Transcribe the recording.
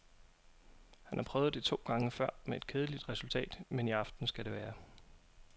Han har prøvet det to gange før med et kedeligt resultat, men i aften skal det være.